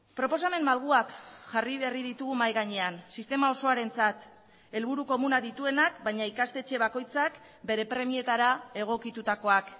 proposamen malguak jarri berri ditugu mahai gainean sistema osoarentzat helburu komuna dituenak baina ikastetxe bakoitzak bere premietara egokitutakoak